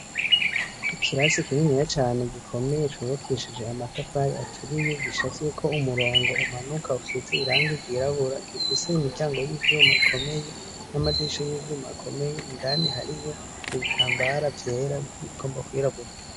Ikirasi kininiya cane gikomeye cubakishije amatafari aturiye gicafyeko umurongo umanuka usize irangi ryirabura gifise imiryango y'ivyuma ikomeye, n'amadirisha y'ivyuma akomeye, indani hariyo n'ibitambara vyera igomba kwirabura.